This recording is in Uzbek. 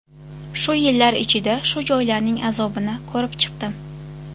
Shu yillar ichida shu joylarning azobini ko‘rib chiqdim.